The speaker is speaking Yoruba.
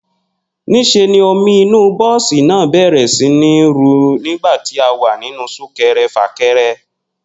Nís̩e ni omi inú bó̩ò̩sì náà bè̩rè̩ sí ní ru nígbà tí a wà nínú súnke̩re̩-fàke̩re̩